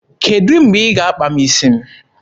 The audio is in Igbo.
Kedụ mgbe ị ga-akpa m isi m?